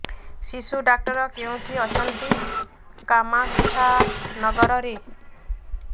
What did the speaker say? ଶିଶୁ ଡକ୍ଟର କୋଉଠି ଅଛନ୍ତି କାମାକ୍ଷାନଗରରେ